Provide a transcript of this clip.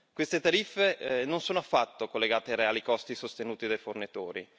Queste tariffe non sono affatto collegate ai reali costi sostenuti dai fornitori.